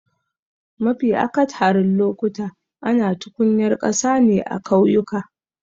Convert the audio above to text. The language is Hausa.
Mafi akatharin lokuta ana tukunyar ƙasa ne a kauyuka.